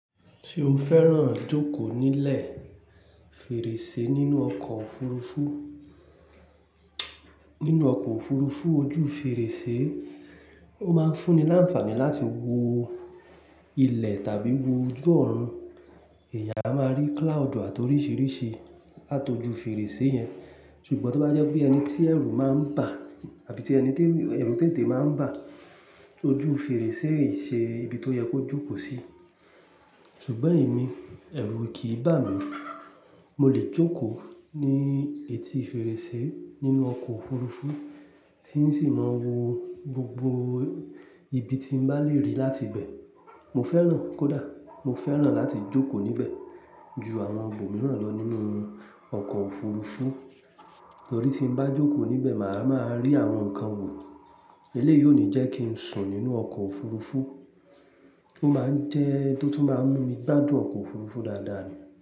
Ṣé o fẹ́ràn jókò nílé, fèrèsé nínú ọkọ̀ òfurufú? Nínú ọkọ̀ òfurufú ojú fèrèsé, ó ma ń fúnni láfaani láti wo ilẹ̀ tàbí wo ojú ọ̀run. Eeyàn a máa rí cloud àti oríṣiríṣi làtoju fèrèsé yẹn. Ṣùgbọ́n, tó bá jẹ́ pé ẹni tí ẹ̀rù ma ń bà tàbí ẹni tí, ẹ̀rù tètè ma ń bà, ojú fèrèsé í ṣe ibi tó yẹ kójókò sí. Ṣùgbọ́n èmi ẹ̀rù kìí bà mí, mo lè jókòó ní etí fèrèsé nínú ọkọ̀ òfurufú tí n sì máa wo gbogbo ibi tí mo bá lè rí láti ibẹ̀. Mo fẹ́ràn, kódà mo fẹ́ràn láti jókòó níbẹ̀ ju àwọn ibòmíràn lọ nínú ọkọ̀ òfurufú. Torí tí n bá jókò níbẹ̀ ma ma rí àwọn nkan wò. Eléyìí ò ní jẹ́ kí ń sùn nínú ọkọ̀ òfurufú, ó máa ń jẹ́ ohun tó tún máa ń mú mi gbádùn ọkọ̀ òfurufú dáadáa ni.